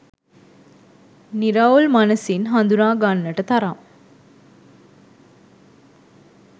නිරවුල් මනසින් හඳුනා ගන්නට තරම්